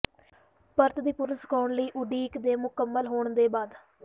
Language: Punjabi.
ਪਰਤ ਦੀ ਪੂਰਨ ਸੁਕਾਉਣ ਲਈ ਉਡੀਕ ਦੇ ਮੁਕੰਮਲ ਹੋਣ ਦੇ ਬਾਅਦ